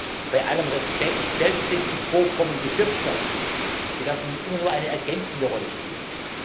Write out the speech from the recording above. Doch bei allem Respekt Selbst wenn die Vorkommen genutzt werden, werden sie immer nur eine ergänzende Rolle spielen.